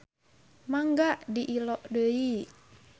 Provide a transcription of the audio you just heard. Mangga diilo deui.